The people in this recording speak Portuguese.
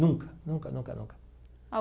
Nunca, nunca, nunca, nunca.